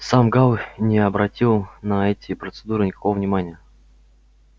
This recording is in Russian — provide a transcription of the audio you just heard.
сам гаал не обратил на эти процедуры никакого внимания